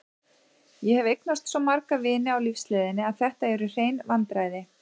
Ég hef eignast svo marga vini á lífsleiðinni að þetta eru hrein vandræði.